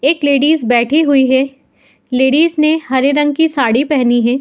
एक लेडीस बैठी हुई है। लेडीस ने हरे रंग की साड़ी पहनी है।